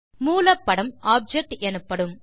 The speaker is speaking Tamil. மூல படம் ஆப்ஜெக்ட் எனப்படும்